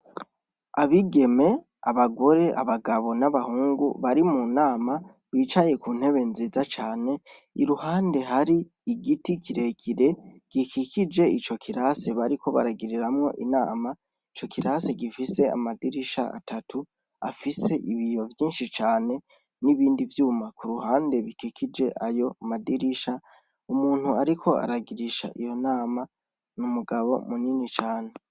Abigeme, abagore, abagabo n'abahungu bari mu nama bicaye ku ntebe nziza cane. Iruhande hari igiti kire kire gikikije ico kirasi bariko baragiriramwo inama. Ico kirasi gifise amadirisha atatu afise ibiyo vyinshi cane n'ibindi vyuma ku ruhande bikikije ayo madirisha. Umuntu ariko aragirisha iyo nama n'umugabo munini cane.